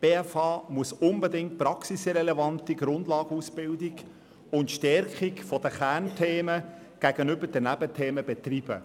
Die BFH muss unbedingt eine praxisrelevante Grundlagenausbildung anbieten und die Kernthemen gegenüber den Nebenthemen stärken.